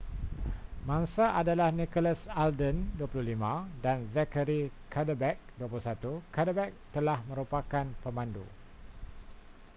mangsa adalah nicholas alden 25 dan zachary cuddeback 21 cuddeback telah merupakan pemandu